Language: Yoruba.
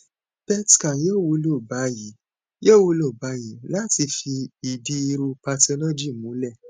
pet scan yoo wulo bayii yoo wulo bayii lati fi idi iru pathology mulẹ